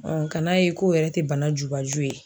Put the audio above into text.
ka n'a ye ko yɛrɛ tɛ bana jubaju ye.